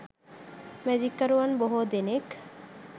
මැජික්කරුවන් බොහෝ දෙනෙක්